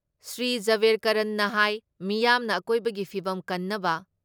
ꯁ꯭ꯔꯤ ꯖꯥꯕꯦꯔꯀꯔꯟꯅ ꯍꯥꯏ ꯃꯤꯌꯥꯝꯅ ꯑꯀꯣꯏꯕꯒꯤ ꯐꯤꯕꯝ ꯀꯟꯅꯕ